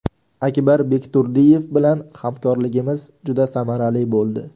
Akbar Bekturdiyev bilan hamkorligimiz juda samarali bo‘ldi.